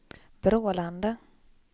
Brålanda